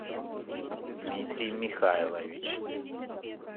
дмитрий михайлович